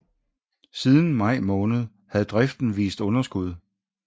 Siden maj måned havde driften vist overskud